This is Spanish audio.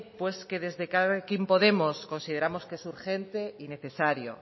pues que desde elkarrekin podemos consideramos que es urgente y necesario